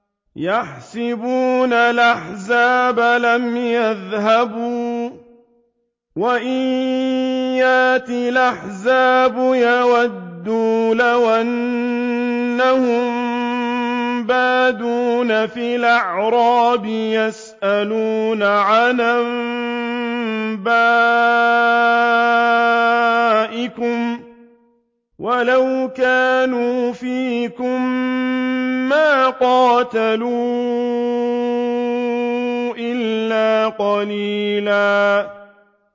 يَحْسَبُونَ الْأَحْزَابَ لَمْ يَذْهَبُوا ۖ وَإِن يَأْتِ الْأَحْزَابُ يَوَدُّوا لَوْ أَنَّهُم بَادُونَ فِي الْأَعْرَابِ يَسْأَلُونَ عَنْ أَنبَائِكُمْ ۖ وَلَوْ كَانُوا فِيكُم مَّا قَاتَلُوا إِلَّا قَلِيلًا